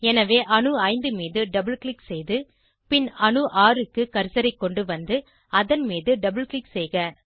எனவே அணு 5 மீது டபுள் க்ளிக் செய்து பின் அணு 6 க்கு கர்சரை கொண்டு வந்து அதன் மீது டபுள் க்ளிக் செய்க